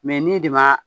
n'i de ma